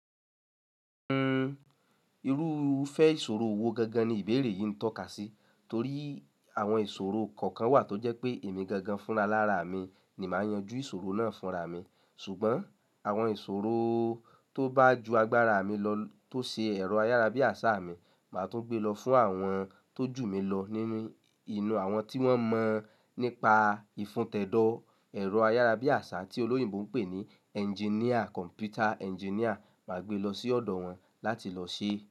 Ẹn, irúfẹ́ ìṣòro wo gangan ni ìbéèrè yìí ń tọ́ka sí? Torí àwọn ìṣòro kọ̀ọ̀kan wà tó jẹ́ pé èmi gangan fúnra lára mi ni màá yanjú ìṣòro náà fúnra mi. Ṣùgbọ́n àwọn ìṣòro tó bá ju agbára mi lọ tó ṣe ẹ̀rọ ayárabíàṣá mi, màá tún gbé lọ fún àwọn tó jù mí lọ nínú inú àwọn tí wọ́n mọ̀ nípa ìfuntẹ́dọ́ ẹ̀rọ ayárabíàṣá tí olóyìnbo ń pè ní engineer, computer engineer, màá gbé lọ sí ọ̀dọ̀ wọn láti lọ ṣe.